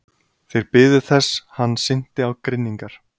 Þeir biðu þess hann synti á grynningar.